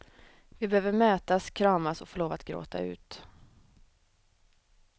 Vi behöver mötas, kramas och få lov att gråta ut.